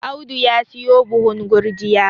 Audu ya siyo buhun gurjiya